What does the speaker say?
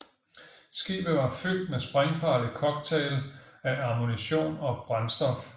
Skibet var fyldt med sprængfarlig cocktail af ammunition og brændstof